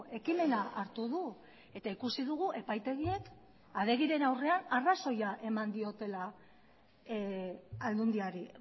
ekimena hartu du eta ikusi dugu epaitegiek adegiren aurrean arrazoia eman diotela aldundiari